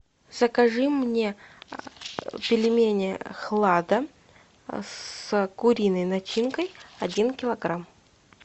закажи мне пельмени хлада с куриной начинкой один килограмм